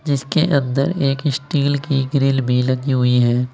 जिसके अंदर एक स्टील की ग्रिल भी लगी हुई है।